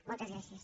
moltes gràcies